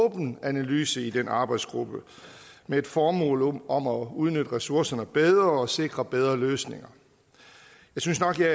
åben analyse i den arbejdsgruppe med et formål om at udnytte ressourcerne bedre og sikre bedre løsninger jeg synes nok jeg